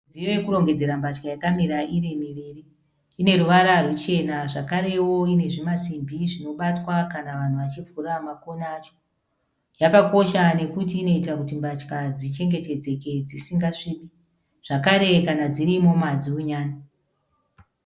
Midziyo yekurongedzera mbatya yakamira iri miviri. Ine ruvara ruchena zvakarewo ine zvimasimbi zvinobatwa kana vanhu vachivhura makona acho. Yakakosha nekuti inoita kuti mbatya dzichengetedzeke dzisingasvibi, zvekare kana dziri imomo hadziunyani.